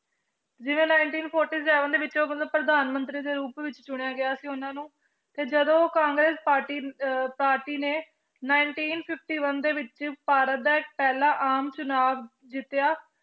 ਜਿਵੇਂ nineteen forty seven ਦੇ ਵਿੱਚ ਮਤਲਬ ਪ੍ਰਧਾਨ ਮੰਤਰੀ ਦੇ ਰੂਪ ਵਿੱਚ ਚੁਣਿਆ ਗਿਆ ਸੀ ਉਹਨਾਂ ਨੂੰ ਤੇ ਜਦੋਂ ਉਹ ਕਾਂਗਰਸ ਪਾਰਟੀ ਪਾਰਟੀ ਨੇ nineteen fifty-five ਦੇ ਵਿੱਚ ਭਾਰਤ ਦਾ ਪਹਿਲਾ ਆਮ ਚੁਣਾਵ ਜਿੱਤਿਆ,